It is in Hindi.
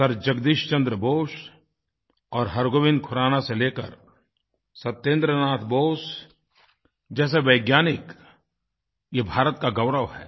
सर जगदीश चन्द्र बोस और हरगोविंद खुराना से लेकर सत्येन्द्र नाथ बोस जैसे वैज्ञानिकये भारत के गौरव हैं